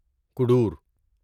کوڈور